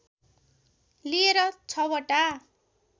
लिएर छवटा